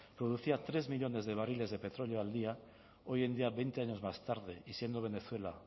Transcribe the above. producía tres millónes de barriles de petróleo al día hoy en día veinte años más tarde y siendo venezuela